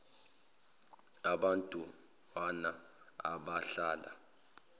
abant wana abadlala